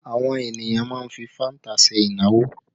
Àwọn ènìyàn má ń fi fanta ṣe ìnáwó